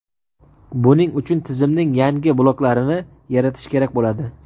Buning uchun tizimning yangi bloklarini yaratish kerak bo‘ladi.